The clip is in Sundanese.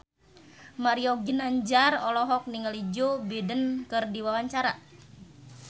Mario Ginanjar olohok ningali Joe Biden keur diwawancara